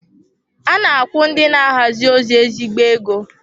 A na-akwụ ndị na-ahazi ozi ezigbo ego.